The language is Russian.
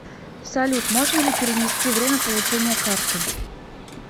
салют можно ли перенести время получения карты